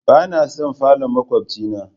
Bana son falon makwabce na.